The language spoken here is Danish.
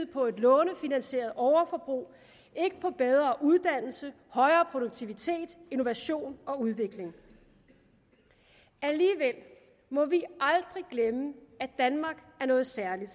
på et lånefinansieret overforbrug ikke på bedre uddannelse højere produktivitet innovation og udvikling alligevel må vi aldrig glemme at danmark er noget særligt